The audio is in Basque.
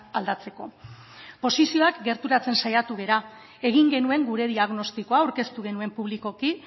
aldatzeko posizioak gerturatzen saiatu gara egin genuen gure diagnostikoa aurkeztu genuen publikoki